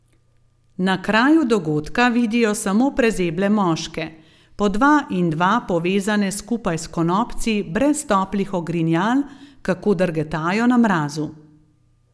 Na kraju dogodka vidijo samo prezeble moške, po dva in dva povezane skupaj s konopci, brez toplih ogrinjal, kako drgetajo na mrazu.